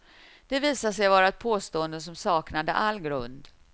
Det visade sig vara ett påstående som saknade all grund.